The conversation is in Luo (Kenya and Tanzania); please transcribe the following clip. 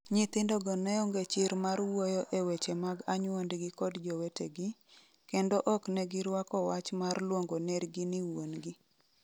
Nyithindogo neonge chir mar wuoyo e weche mag anyuondgi kod jowetegi, kendo oknegi rwako wach mar luongo nergi ni wuon gi.